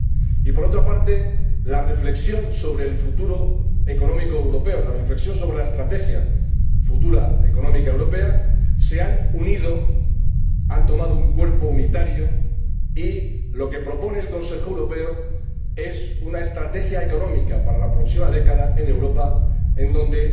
y, por otra parte, la reflexión sobre el futuro económico europeo y sobre la estrategia futura económica europea se han unido, han tomado un cuerpo unitario, y lo que propone el Consejo Europeo es una estrategia económica para la próxima década en Europa, donde